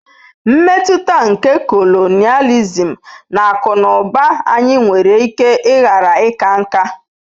Mmetụta nke colonialism na akụ na ụba anyị nwere ike ghara ịka nká.